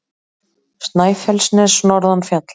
Snæfellsnes norðan fjalla.